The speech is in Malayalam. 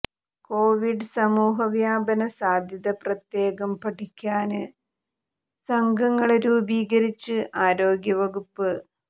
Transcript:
കോവിഡ് സമൂഹ വ്യാപന സാധ്യത പ്രത്യേകം പഠിക്കാന് സംഘങ്ങള് രൂപീകരിച്ച് ആരോഗ്യ വകുപ്പ്